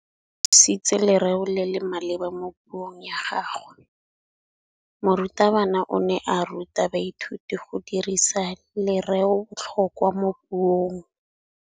O dirisitse lerêo le le maleba mo puông ya gagwe. Morutabana o ne a ruta baithuti go dirisa lêrêôbotlhôkwa mo puong.